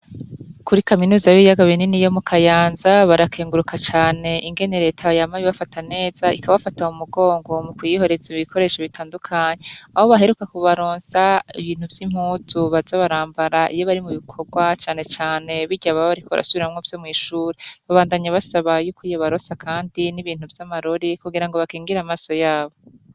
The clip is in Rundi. Kuri kaminuza yo mukayaza barakeguruka cane ingene reta yama ibafata neza ikabafata mu mugongo mukuyiha ibikoresha bitadukanye aho baheruka kubaronsa ibintu vy'impuzu baza barambara iyo bari mubikorwa cane cane birya baba bariko barasubiramwo vyo mw'ishure, babandanye basaba yuko yobaronsa kandi n'ibintu vya marori kugira ngo bakigire amaso yabo.